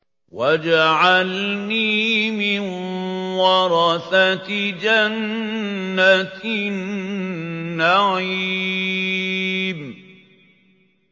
وَاجْعَلْنِي مِن وَرَثَةِ جَنَّةِ النَّعِيمِ